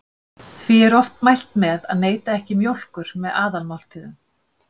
Því er oft mælt með að neyta ekki mjólkur með aðalmáltíðum.